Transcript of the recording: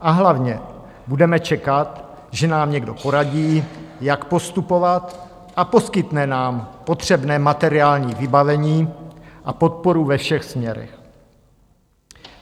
A hlavně budeme čekat, že nám někdo poradí, jak postupovat, a poskytne nám potřebné materiální vybavení a podporu ve všech směrech.